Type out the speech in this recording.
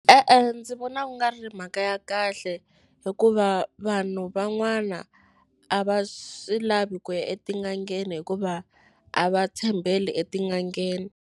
E-e, ndzi vona ku nga ri mhaka ya kahle hikuva vanhu van'wana a va swi lavi ku ya etin'angheni hikuva a va tshembeli etin'angeni.